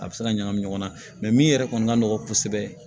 A bɛ se ka ɲagami ɲɔgɔn na min yɛrɛ kɔni ka nɔgɔn kosɛbɛ